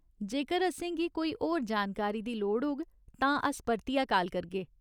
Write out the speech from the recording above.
जेकर असेंगी कोई होर जानकारी दी लोड़ होग तां अस परतियै काल करगे।